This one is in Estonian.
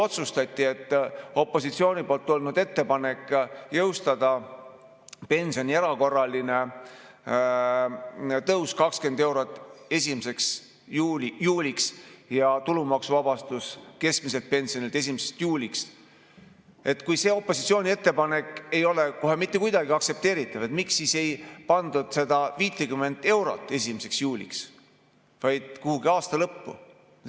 Kui otsustati, et opositsiooni ettepanek jõustada pensioni erakorraline tõus 20 eurot 1. juuliks ja tulumaksuvabastus keskmiselt pensionilt 1. juuliks ei ole kohe mitte kuidagi aktsepteeritav, miks siis ei pandud seda 50 eurot 1. juuliks, vaid kuhugi aasta lõppu?